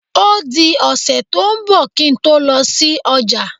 Ó di ọ̀sẹ̀ tó ń bọ̀ kí n tó lọ sí ọjà.